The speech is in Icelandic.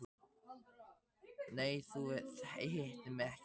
Nei, þú hittir mig ekki neitt.